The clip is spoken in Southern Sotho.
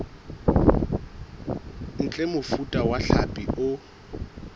ntle mofuta wa hlapi o